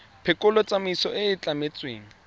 phekolo tsamaiso e e tlametsweng